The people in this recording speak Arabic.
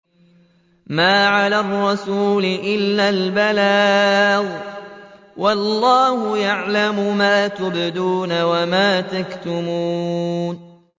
مَّا عَلَى الرَّسُولِ إِلَّا الْبَلَاغُ ۗ وَاللَّهُ يَعْلَمُ مَا تُبْدُونَ وَمَا تَكْتُمُونَ